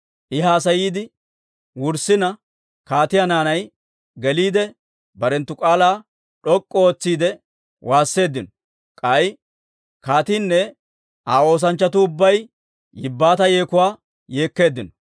I haasayiide wurssina kaatiyaa naanay geliide barenttu k'aalaa d'ok'k'u ootsiide waasseeddino. K'ay kaatiinne Aa oosanchchatuu ubbay yibbaata yeekuwaa yeekkeeddino.